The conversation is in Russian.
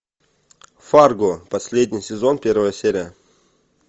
фарго последний сезон первая серия